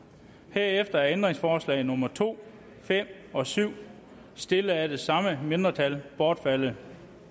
herefter er ændringsforslag nummer to fem og syv stillet af det samme mindretal bortfaldet